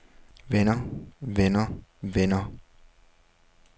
vender vender vender